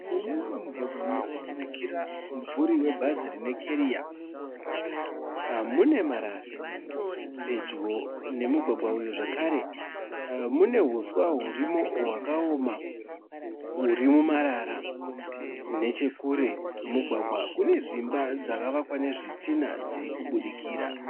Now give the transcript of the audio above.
Mune mumwe mugwagwa muri kubudikira mumvuri webhazi rine keriya mune marara. Pedyo nemugwagwa uyu zvakare mune huswa hurimo hwakaoma huri mumarara. Nechekure kwemugwagwa kune dzimba dzakavakwa nezvitinha dziri kubudikira.